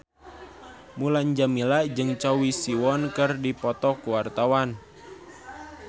Mulan Jameela jeung Choi Siwon keur dipoto ku wartawan